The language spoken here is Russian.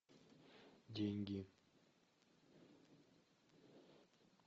деньги